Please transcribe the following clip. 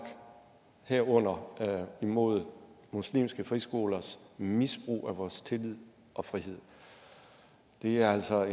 herunder imod muslimske friskolers misbrug af vores tillid og frihed det er altså